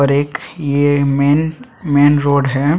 और एक ये मेंन मेंन रोड है।